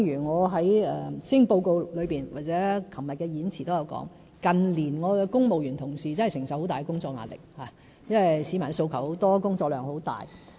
我在施政報告裏或昨天的演辭中都有提及，近年我的公務員同事承受很大工作壓力，因為市民訴求很多，工作量很大。